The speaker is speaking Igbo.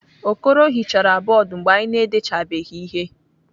Okoro hichara bọọdụ mgbe anyị na-edechabeghị ihe.